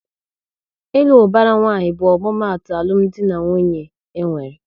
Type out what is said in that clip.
Ịlụ ubara nwanyi bụ omumatu alụmdi na nwunye enwere